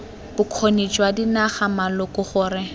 bokgoni jwa dinaga maloko gore